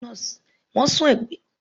Wọ́n sún ìgbẹ́jọ́ náà síwájú fún ọ̀sẹ̀ méjì